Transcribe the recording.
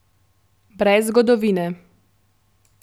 Brez zgodovine.